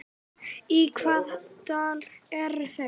Í hvaða dal eru þeir?